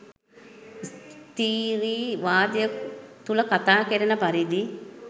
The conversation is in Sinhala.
ස්ත්රී වාදය තුළ කතා කෙරෙන පරිදි